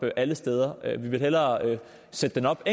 alle steder vi vil hellere sætte den op på